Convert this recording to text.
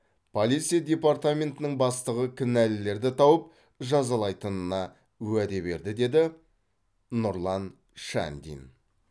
полиция департаментінің бастығы кінәлілерді тауып жазалайтынына уәде берді деді нұрлан шандин